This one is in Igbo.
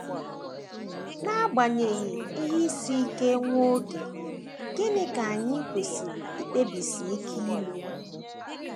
N’agbanyeghị ihe isi ike nwa oge, gịnị ka anyị kwesịrị ikpebisi ike ime?